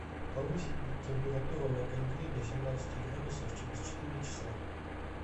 повысить температуру на кондее до семнадцати градусов через четыре часа